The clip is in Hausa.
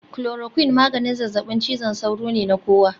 Chloroquine maganin zazzabin cizon sauro ne na kowa